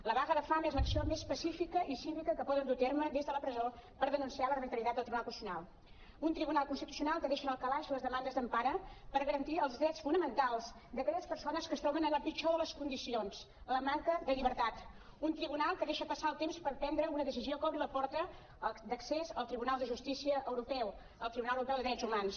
la vaga de fam és l’acció més pacífica i cívica que poden dur a terme des de la presó per denunciar l’arbitrarietat del tribunal constitucional un tribunal constitu·cional que deixa en el calaix les demandes d’empara per garantir els drets fonamen·tals d’aquelles persones que es troben la pitjor de les condicions la manca de lliber·tat un tribunal que deixa passar el temps per prendre una decisió que obri la porta d’accés al tribunal de justícia europeu al tribunal europeu de drets humans